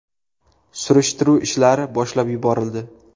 Surishtiruv ishlari boshlab yuborildi.